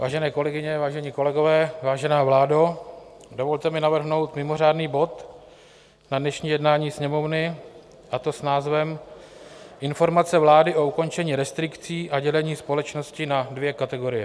Vážené kolegyně, vážení kolegové, vážená vládo, dovolte mi navrhnout mimořádný bod na dnešní jednání Sněmovny, a to s názvem Informace vlády o ukončení restrikcí a dělení společnosti na dvě kategorie.